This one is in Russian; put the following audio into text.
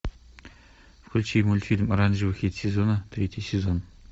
включи мультфильм оранжевый хит сезона третий сезон